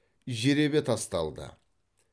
жеребе тасталды